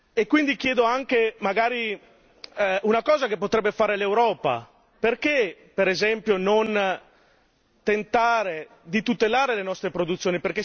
E quindi chiedo anche magari una cosa che potrebbe fare l'Europa, perché, per esempio, non tentare di tutelare le nostre produzioni?